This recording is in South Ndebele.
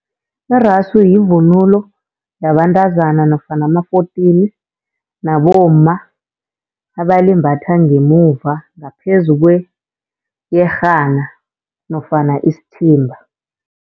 Iraso yivunulo yabantazana nofana ama-fourteen nabomma, abalimbatha ngemuva ngaphezu kweyerhana nofana isithimba.